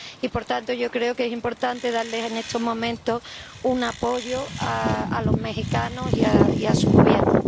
Y, por tanto, yo creo que es importante darles en estos momentos un apoyo a los mexicanos y a su Gobierno.